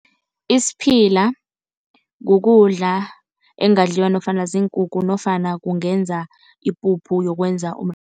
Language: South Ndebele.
Isiphila kukudla, ekungadliwa nofana ziinkukhu nofana kungenza ipuphu yokwenza